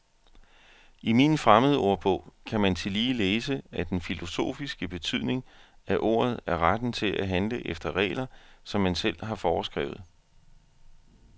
I min fremmedordbog kan man tillige læse, at den filosofiske betydning, af ordet er retten til at handle efter regler, som man selv har foreskrevet.